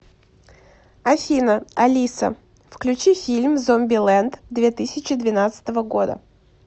афина алиса включи фильм зомбилэнд две тысячи двенадцатого года